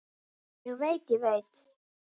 Ég veit, ég veit.